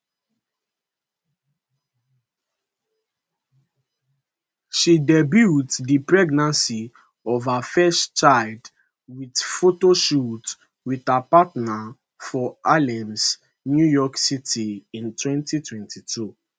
she debut di pregnancy of her first child wit photoshoot wit her partner for harlem new york city in 2022